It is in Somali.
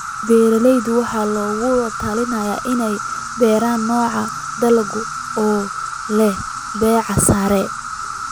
Beeralayda waxaa lagula talinayaa inay beeraan noocyo dalagga oo leh baahi sare.